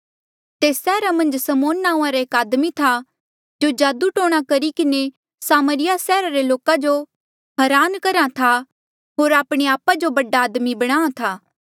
तेस सैहरा मन्झ समौन नांऊँआं रा एक आदमी था जो जादू टोणा करी किन्हें सामरिया सैहरा रे लोका जो हरान करहा था होर आपणे आपा जो बड़ा आदमी बणाहां था